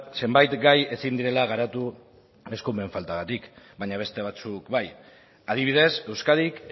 zenbait gai ezin direla garatu eskumen faltagatik baina beste batzuk bai adibidez euskadik